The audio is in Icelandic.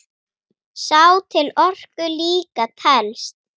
Sá til orku líka telst.